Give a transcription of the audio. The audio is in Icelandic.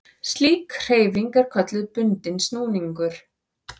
Slík hreyfing er kölluð bundinn snúningur.